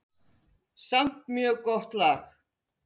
Samt mjög gott lag.